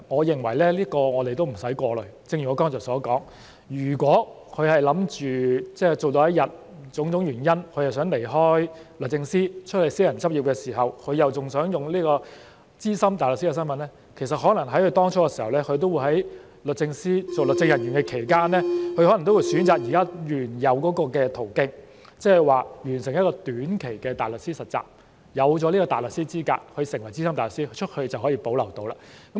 正如我剛才所說，如果他們是想工作到某天，因種種原因而想離開律政司到外私人執業，並同時想保留資深大律師的身份，其實他們當初在律政司擔任律政人員的期間，可能選擇現時原有的途徑，即是說完成短期的大律師實習，獲得大律師資格，成為資深大律師，這樣在外面便仍能保留身份。